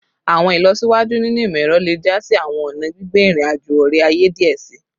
Awọn ilọsiwaju ninu imọ-ẹrọ le ja si awọn ọna gbigbe irin-ajo ore-aye diẹ sii